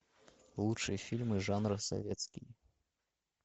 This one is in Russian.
лучшие фильмы жанра советский